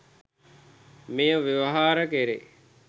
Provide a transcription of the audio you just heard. මෙය ව්‍යවහාර කැරේ.